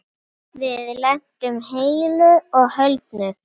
Þetta gat alveg farið svona.